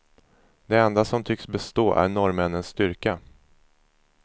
Det enda som tycks bestå är norrmännens styrka.